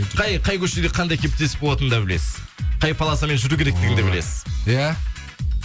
қай қай көшеде қандай кептеліс болатынын да білесіз қай полосамен жүру керектігін білесіз иә